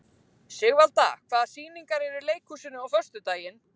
Sigvalda, hvaða sýningar eru í leikhúsinu á föstudaginn?